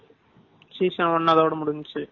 Session one அதோட முடிஞ்சுச்சு